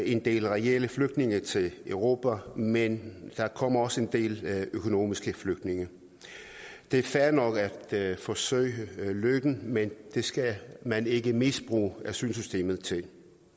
en del reelle flygtninge til europa men der kommer også en del økonomiske flygtninge det er fair nok at forsøge lykken men det skal man ikke misbruge asylsystemet til